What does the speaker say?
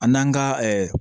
A n'an ka